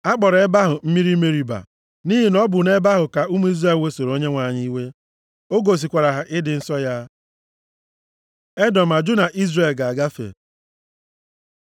A kpọrọ ebe ahụ mmiri Meriba, + 20:13 Meriba pụtara Esemokwu. nʼihi na ọ bụ nʼebe ahụ ka Izrel wesoro Onyenwe anyị iwe. O gosikwara ha ịdị nsọ ya. Edọm ajụ na Izrel ga-agafe